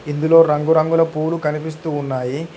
ఇందులో రంగురంగుల పూలు కనిపిస్తూ ఉన్నాయి.